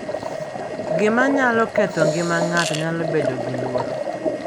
Gima nyalo ketho ngima ng’ato nyalo bedo gi luoro.